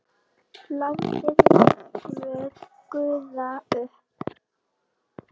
Látið vökva gufa upp.